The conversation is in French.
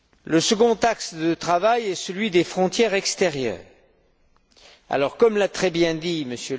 Le second axe de travail est celui des frontières extérieures. Comme l'a très bien dit